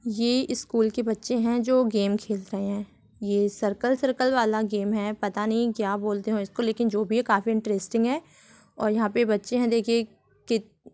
ये स्कूल के बच्चे हैं जो गेम खेलते हैं | ये सर्कल सर्कल वाला गेम है पता नहीं क्या बोलते है इसको लेकिन जो भी है काफी इंटरेस्टिंग है | और यह पे बच्चे है देखिये कित--